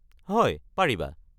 হয়, পাৰিবা।